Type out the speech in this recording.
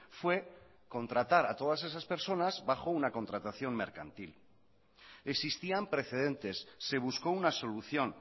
fue contratar a todas esas personas bajo una contratación mercantil existían precedentes se buscó una solución